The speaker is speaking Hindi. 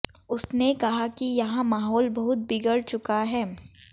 उसने कहा कि यहां माहौल बहुत बिगड़ चुका है